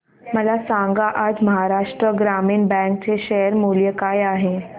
मला सांगा आज महाराष्ट्र ग्रामीण बँक चे शेअर मूल्य काय आहे